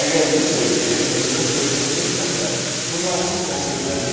Əgər bu sevgi özünün fövqünə keçməsə, bu narsizmə çevrilə bilər.